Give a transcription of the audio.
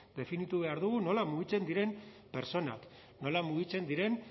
definitu behar dugu nola mugitzen diren pertsonak nola mugitzen diren